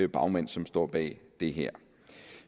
bagmænd som står bag det her